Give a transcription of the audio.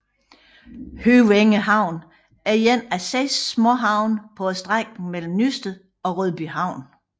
Høvænge Havn er en af 6 småhavne på strækningen mellem Nysted og Rødbyhavn